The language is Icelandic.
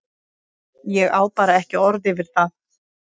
Ég á bara ekki orð yfir það.